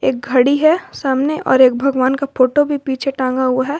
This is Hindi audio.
एक घड़ी है सामने और एक भगवान का फोटो भी पीछे टांगा हुआ है।